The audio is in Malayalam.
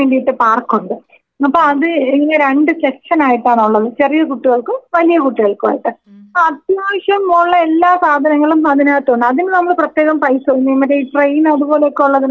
അപ്പോ അത് ഇതിനെ രണ്ട് സെക്ഷനായിട്ടാനുള്ളത് ചെറിയ കുട്ടികൾക്കും വലിയ കുട്ടികൾക്കുമായിട്ട്‌ അത്യാവശ്യം ഒള്ള എല്ലാ സാധനങ്ങളും അതിനകത്തുണ്ട് അതിന് നമ്മള് പ്രത്യേകം പൈസ ഒന്നും നമ്മുടെ ഈ ട്രെയിൻ അതുപോലൊക്കൊള്ളതിനൊക്കെ നമ്മള് പൈസ കൊടുക്കണം.